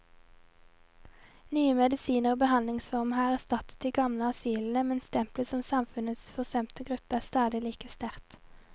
Nye medisiner og behandlingsformer har erstattet de gamle asylene, men stempelet som samfunnets forsømte gruppe er stadig like sterkt.